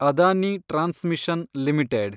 Adani transmission limited